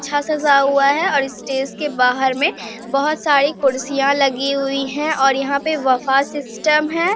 अच्छा सजा हुआ है और स्टेज के बाहर में बहुत सारी कुर्सियाँ लगी हुई हैं और यहाँ पे बुफ़े सिस्टम है।